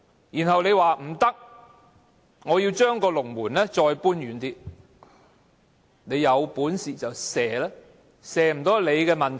然後，你說不可以，要將龍門再搬遠一點，有本事便射球吧，射不到是你們的問題。